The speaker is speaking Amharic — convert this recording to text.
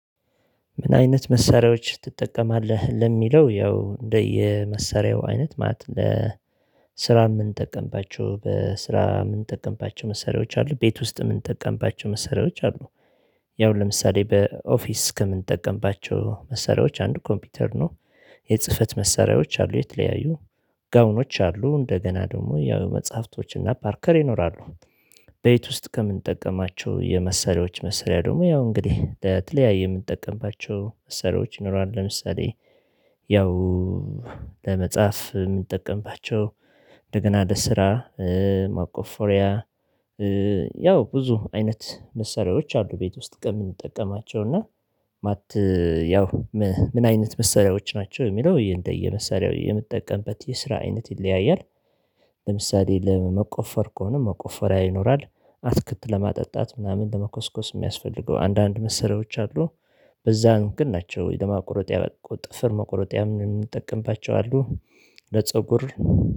ምን አይነት መሳሪያዎች ትጠቀማለህ? ለሚለው ያው እንደየመሳሪያው አይነት ማለት ለ የምንጠቀምባቸው በስራ የምንጠቀምባቸው መሳሪያዎች አሉ ቤት ውስጥ የምንጠቀምባቸው መሳሪያዎች አሉ። ያው ለምሳሌ በኦፊስ ከምንጠቀምባቸው መሳሪያዎች አንድ ኮምፒውተር ነው። የጽህፈት መሳሪያዎች አሉ የተለያዩ ጋውኖች አሉ እንደገና ደግሞ ያው መጽሐፍቶችና ፓርከር ይኖራሉ። ቤት ውስጥ ከምንጠቀማቸው የመሳሪያዎች መሳሪያያ ደግሞ ያው እንግዲህ ለተለያየ የምንጠቀምባቸው መሳሪያዎች ይኖራሉ። ለምሳሌ ያው ለመጻፍ የምንጠቀምባቸው እንደገና ለ ስራ መቆፈሪያ ያው ብዙ አይነት መሳሪያዎች አሉ። ቤት ውስጥ ከምንጠቀማቸው እና ማት ያው ምን አይነት መሰሪያዎች ናቸው? የሚለው እየንደየ እንደየመሳሪያው የምትጠቀምበት የስራ አይነት ይለያያል። ለምሳሌ ለመቆፈር ከሆነ መቆፈሪያ ይኖራል አትክልት ለማጠጣት ምናምን ለመኮስኮስ የሚያስፈልገው አንዳንድ መሰሪያዎች አሉ። በዛን ግን ናቸው ለማቆረጥ ያበቁት ጥፍር መቆረጥ ያምን እንጠቀምባቸዋለን ለፀጉር